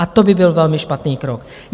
A to by byl velmi špatný krok.